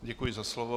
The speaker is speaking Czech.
Děkuji za slovo.